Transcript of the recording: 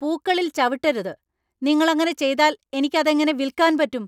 പൂക്കളിൽ ചവിട്ടരുത്! നിങ്ങൾ അങ്ങനെ ചെയ്താൽ എനിക്ക് അതെങ്ങനെ വിൽക്കാൻ പറ്റും !